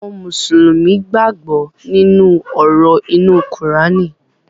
Àwọn Mùsùlùmí gbàgbó nínú òrò inu Kùránì